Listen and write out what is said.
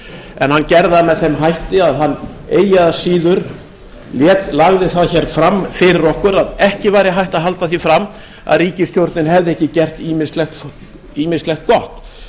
en hann gerði það með þeim hætti að hann eigi að síður lagði það hér fram hér fyrir okkur að ekki væri hægt að halda því fram að ríkisstjórnin hefði ekki gert ýmislegt gott